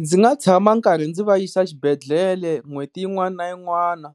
Ndzi nga tshama karhi ndzi va yisa xibedhlele n'hweti yin'wana na yin'wana,